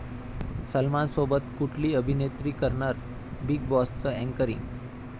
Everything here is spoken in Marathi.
सलमानसोबत कुठली अभिनेत्री करणार 'बीग बॉस'चं अँकरींग?